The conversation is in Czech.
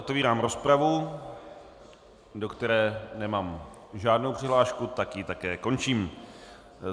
Otevírám rozpravu, do které nemám žádnou přihlášku, tak ji také končím.